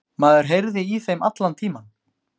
Maður heyrði í þeim allan tímann